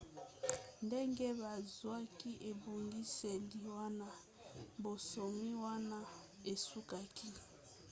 ndenge bazwaki ebongiseli wana bonsomi wana esukaki